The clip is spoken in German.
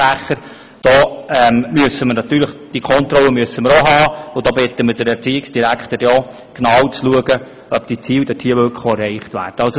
Da bitten wir den Erziehungsdirektor darum, dereinst genau hinzuschauen, ob die Ziele denn auch tatsächlich erreicht werden.